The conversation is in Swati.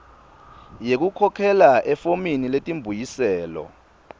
yekukhokhela efomini letimbuyiselo